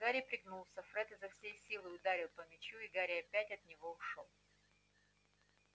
гарри пригнулся фред изо всей силы ударил по мячу и гарри опять от него ушёл